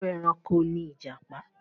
Irú ẹranko ni ìjàpá?